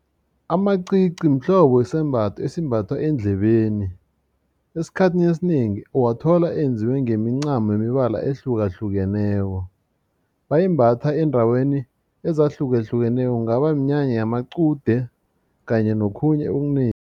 Amacici mhlobo sisembatho esimbathwa eendlebeni esikhathini esinengi uwathola enziwe ngemincamo ngemibala ehlukahlukeneko bayimbatha eendaweni ezahlukahlukeneko kungaba minyanya yamaqude kanye nokhunye okunengi.